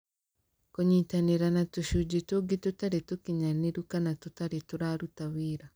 Kũnyitanĩra na tũcunjĩ tũngĩ tũtarĩ tũkinyanĩru kana tũtarĩ tũraruta wĩra.